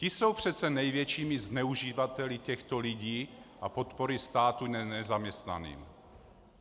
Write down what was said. Ti jsou přece největšími zneuživateli těchto lidí a podpory státu nezaměstnaným.